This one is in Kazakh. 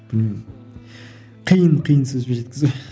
білмеймін қиын қиын сөзбен жеткізу